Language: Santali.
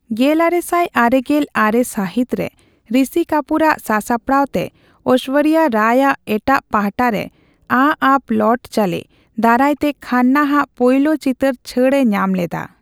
ᱜᱮᱞᱟᱨᱮᱥᱟᱭ ᱟᱨᱮᱜᱮᱞ ᱟᱨᱮ ᱥᱟᱹᱦᱤᱛ ᱨᱮ ᱨᱤᱥᱤ ᱠᱟᱹᱯᱩᱨ ᱟᱜ ᱥᱟᱥᱟᱯᱟᱲᱟᱣ ᱛᱮ ᱳᱭᱥᱳᱨᱡᱚ ᱨᱟᱭ ᱟᱜ ᱮᱴᱟᱜ ᱯᱟᱦᱴᱟ ᱨᱮ 'ᱟ ᱚᱵ ᱞᱟᱣᱴ ᱪᱚᱞᱮ' ᱫᱟᱨᱟᱭ ᱛᱮ ᱠᱷᱟᱱᱱᱟ ᱟᱜ ᱯᱳᱭᱞᱳ ᱪᱤᱛᱟᱹᱨ ᱪᱷᱟᱹᱲᱼᱮ ᱧᱟᱢ ᱞᱮᱫᱟ ᱾